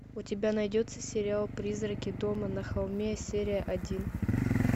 у тебя найдется сериал призраки дома на холме серия один